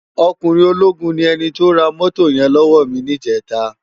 Òkúnrin ólógún ni èni tó rá mótó yèn lòwò mi nijètá